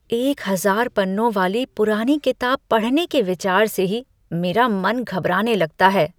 एक हजार पन्नों वाली पुरानी किताब पढ़ने के विचार से ही मेरा मन घबराने लगता है।